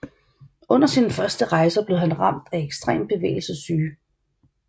Under sine første rejser blev han ramt af ekstrem bevægelsessyge